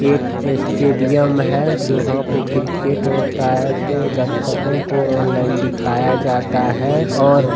एक स्टेडियम है जहाँ पे क्रिकेट होता है तो दर्शकों को ऑनलाइन दिखाया जाता है और --